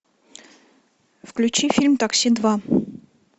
включи фильм такси два